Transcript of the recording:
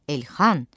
Elxan!